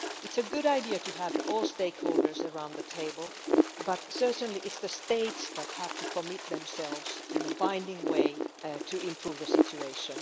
It is a good idea to have all stakeholders around the table, but certainly it is states which have to commit themselves in a binding way to improving the situation.